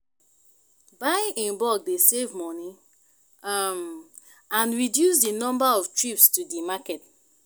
buying in bulk dey save money um and reduce di number of trips to di market.